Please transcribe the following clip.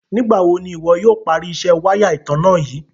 Nígbà wò ni iwọ̀ yóò pàrí ìṣẹ̀ wàya ìtànà yìí?